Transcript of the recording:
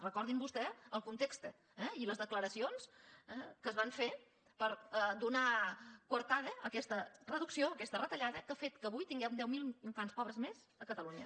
recordin vostès el context eh i les declaracions que es van fer per donar coartada a aquesta reducció a aquesta retallada que ha fet que avui tinguem deu mil infants pobres més a catalunya